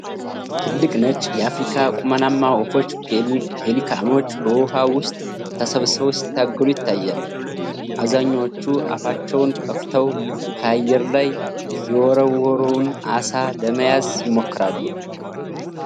ትልቅ ነጭ የአፍሪካ ቁመናማ ወፎች (ፔሊካኖች) በውኃ ውስጥ ተሰብስበው ሲታገሉ ይታያል። አብዛኞቹ አፋቸውን ከፍተው ከአየር ላይ የወረወረውን ዓሣ ለመያዝ ይሞክራሉ።